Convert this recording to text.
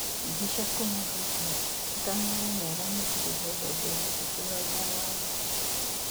Mbica kuma Reuters, atanaria nĩaramũkĩrire thũmbĩ ya gĩtĩo ya watho.